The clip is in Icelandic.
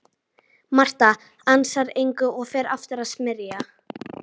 Marta ansar engu og fer aftur að smyrja.